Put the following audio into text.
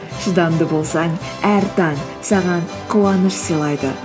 шыдамды болсаң әр таң саған қуаныш сыйлайды